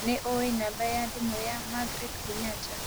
nĩ ũĩ namba ya thimũ ya Margaret Kenyatta